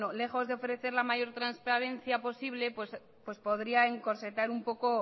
lejos de ofrecer la mayor transparencia posible pues podría encorsetar un poco